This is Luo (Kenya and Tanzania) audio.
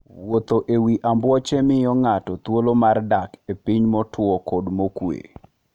Wuotho e wi ambuoche miyo ng'ato thuolo mar dak e piny motwo kendo mokuwe.